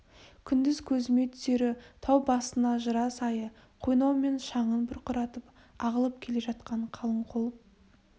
күндіз көзіме түсері тау басына жыра сайы қойнау мен шаңын бұрқыратып ағылып келе жатқан қалың қол